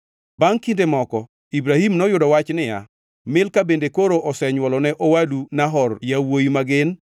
Bangʼ kinde moko, Ibrahim noyudo wach niya, “Milka bende koro osenywolone owadu Nahor yawuowi ma gin: